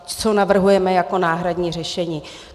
Co navrhujeme jako náhradní řešení.